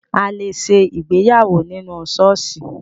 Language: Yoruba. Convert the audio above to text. A lè ṣe ìgbéyàwó nínú ṣọ́ọ̀ṣì